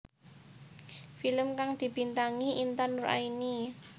Film kang dibintangi Intan Nuraini